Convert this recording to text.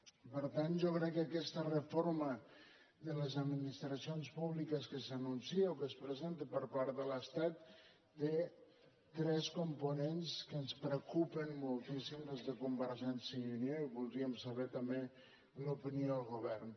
i per tant jo crec que aquesta reforma de les administracions públiques que s’anuncia o que es presenta per part de l’estat té tres components que ens preocupen moltíssim des de convergència i unió i voldríem saber també l’opinió del govern